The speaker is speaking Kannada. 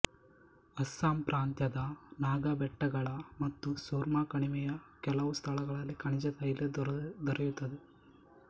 ಅಸ್ಸಾಂ ಪ್ರಾಂತ್ಯದ ನಾಗಾ ಬೆಟ್ಟಗಳ ಮತ್ತು ಸುರ್ಮಕಣಿವೆಯ ಕೆಲವು ಸ್ಥಳಗಳಲ್ಲಿ ಖನಿಜತೈಲ ದೊರೆಯುತ್ತದೆ